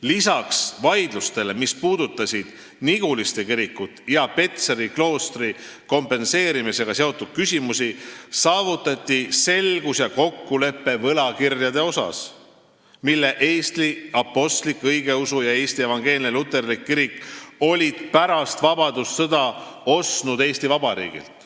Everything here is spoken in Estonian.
Lisaks vaidlustele, mis puudutasid Niguliste kiriku ja Petseri kloostriga seotud küsimusi, saavutati selgus ja kokkulepe võlakirjade asjus, mille Eesti Apostlik-Õigeusu Kirik ja Eesti Evangeelne Luterlik Kirik olid pärast vabadussõda ostnud Eesti Vabariigilt.